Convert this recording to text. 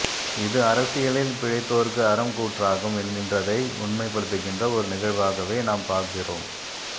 இது அரசியலில் பிழைத்தோர்க்கு அறம் கூற்றாகும் என்கின்றதை உண்மைப்படுத்துகின்ற ஒரு நிகழ்வாகவே நாம் பாக்கிறோம்